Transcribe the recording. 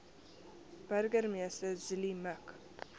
burgemeester zille mik